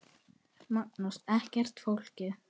Magnús: Ekkert flókið?